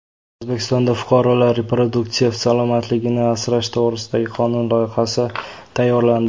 O‘zbekistonda fuqarolar reproduktiv salomatligini asrash to‘g‘risidagi qonun loyihasi tayyorlandi.